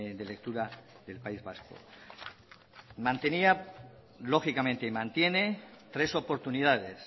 de lectura del país vasco mantenida lógicamente y mantiene tres oportunidades